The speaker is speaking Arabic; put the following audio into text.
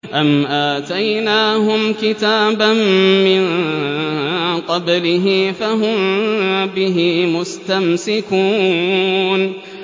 أَمْ آتَيْنَاهُمْ كِتَابًا مِّن قَبْلِهِ فَهُم بِهِ مُسْتَمْسِكُونَ